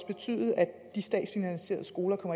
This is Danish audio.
betyde at de statsfinansierede skoler